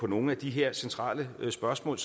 nogle af de her centrale spørgsmål